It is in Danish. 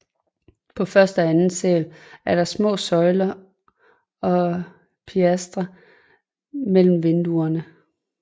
På første og anden sal er der små søjler og pilastre mellem vinduerne